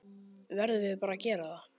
Verðum bara að gera það.